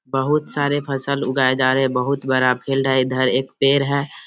बहुत सारे फसल उगाए जा रहे हैं बहुत बड़ा फील्ड है इधर एक पेड़ है।